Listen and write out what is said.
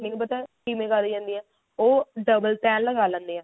ਪਤਾ ਕਿਵੇਂ ਤਾਰੀ ਜਾਂਦੀ ਆ ਉਹ double ਤਿਹ ਲਗਾ ਲੈਂਦੇ ਆ